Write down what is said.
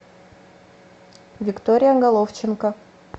виктория головченко